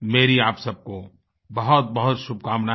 मेरी आप सबको बहुतबहुत शुभकामनाएँ